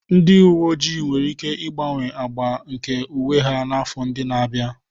Ndị uwe ojii nwere ike ịgbanwe agba nke uwe ha n'afọ ndị na-abịa.